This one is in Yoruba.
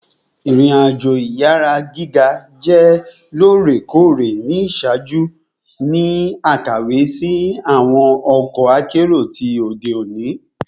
Irin-ajo iyara giga jẹ loorekoore ni iṣaaju ni akawe si awọn ọkọ akero ti ode oni